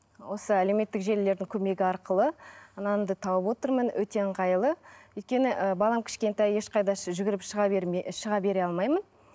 осы әлеуметтік желілердің көмегі арқылы нанымды тауып отырмын өте ыңғайлы өйткені ы балам кішкентай ешқайда жүгіріп шыға бере алмаймын